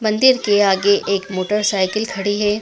मंदिर के आगे एक मोटरसाइकिल खड़ी है।